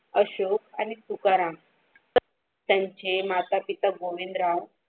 अशोक आणि तुकाराम तर त्यांचे माता-पिता गोविंदराव.